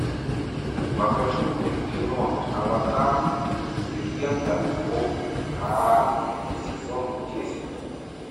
покажи мне кино аватар легенда об аанге сезон десять